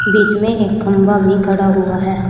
बीच में एक खंभा भी खड़ा हुआ है।